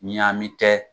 Ɲaamin kɛ